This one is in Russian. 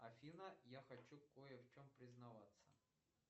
афина я хочу кое в чем признаваться